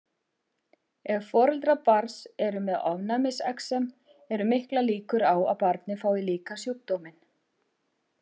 Ef foreldrar barns eru með ofnæmisexem eru miklar líkur á að barnið fái líka sjúkdóminn.